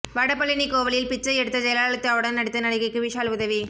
வடபழனி கோவிலில் பிச்சை எடுத்த ஜெயலலிதாவுடன் நடித்த நடிகைக்கு விஷால் உதவி